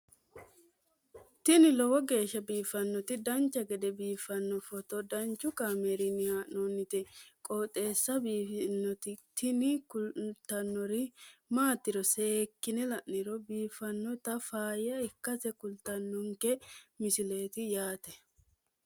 tini lowo geeshsha biiffannoti dancha gede biiffanno footo danchu kaameerinni haa'noonniti qooxeessa biiffannoti tini kultannori maatiro seekkine la'niro biiffannota faayya ikkase kultannoke misileeti yaate